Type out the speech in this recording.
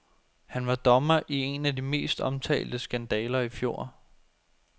Han var dommer i en af de mest omtalte skandaler i fjor.